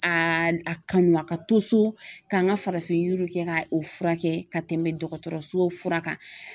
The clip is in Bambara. A a kanu a ka to so ka an ka farafin yiriw kɛ ka o furakɛ ka tɛmɛ dɔgɔtɔrɔso kan.